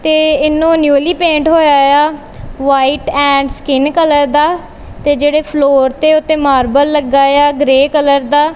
ਤੇ ਇਹਨੂੰ newly paint ਹੋਇਆ ਯਾ ਵ੍ਹਾਈਟ ਐਂਡ ਸਕਿਨ ਕਲਰ ਦਾ ਤੇ ਜੇਹੜੇ ਫਲੋਰ ਤੇ ਓਹਤੇ ਮਰਬਲ ਲੱਗਾ ਯਾ ਗਰੇ ਕਲਰ ਦਾ।